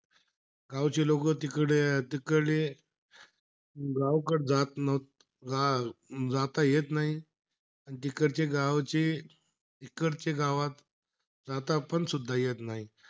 गावचे लोक तिकडे अं गावाकडे जात जा जाता येत नाही. आणि तिकडचे गावचे तिकडच्या गावात जात पण सुद्धा येत नाही.